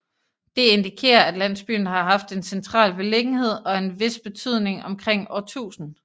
Det indikerer at landsbyen har haft en central beliggenhed og en vis betydning omkring år 1000